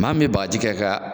Maa min bɛ bagaji kɛ ka